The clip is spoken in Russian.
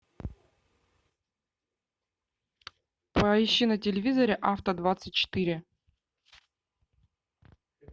поищи на телевизоре авто двадцать четыре